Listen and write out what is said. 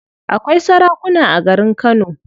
Akwai sarakuna a garin kano.